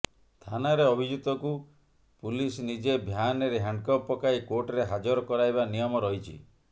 ଥାନାରେ ଅଭିଯୁକ୍ତକୁ ପୁଲିସ ନିଜ ଭ୍ୟାନ୍ରେ ହ୍ୟାଣ୍ଡକପ୍ ପକାଇ କୋର୍ଟରେ ହଜାର କରାଇବା ନିୟମ ରହିଛି